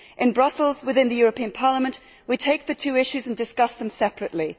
In Brussels within the European Parliament, we take the two issues and discuss them separately.